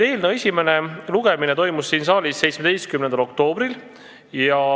Eelnõu esimene lugemine toimus siin saalis 17. oktoobril.